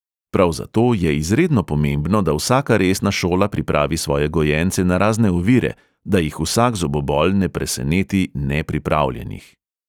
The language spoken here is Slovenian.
Prav zato je izredno pomembno, da vsaka resna šola pripravi svoje gojence na razne ovire, da jih vsak zobobol ne preseneti nepripravljenih.